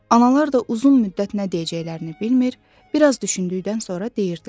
Analar da uzun müddət nə deyəcəklərini bilmir, biraz düşündükdən sonra deyirdilər.